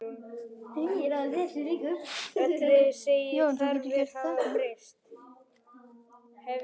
Hún sagði í gleði sinni